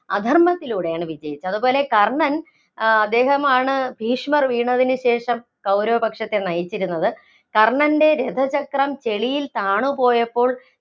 അധര്‍മ്മത്തിലൂടെയാണ് വിജയിച്ചത്. അതുപോലെ കർണൻ ആഹ് അദ്ദേഹമാണ് ഭീഷ്മര്‍ വീണത്തിനുശേഷം കൗരവപക്ഷത്തെ നയിച്ചിരുന്നത്, കർണന്‍റെ രഥചക്രം ചെളിയില്‍ താണ് പോയപ്പോള്‍